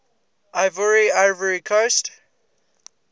ivoire ivory coast